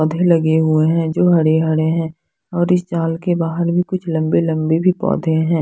पौधे लगे हुए हैं जो हरे हरे हैं और इस जाल के बाहर भी कुछ लम्बे लम्बे भी पौधे हैं।